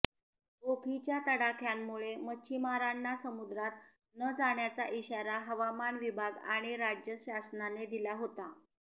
ओखीच्या तडाख्यामुळे मच्छीमारांना समुद्रात न जाण्याचा इशारा हवामान विभाग आणि राज्य शासनाने दिला होता